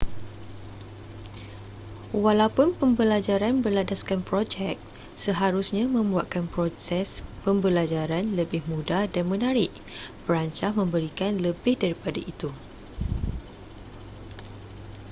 walaupun pembelajaran berlandaskan projek seharusnya membuatkan proses pembelajaran lebih mudah dan menarik perancah memberikan lebih daripada itu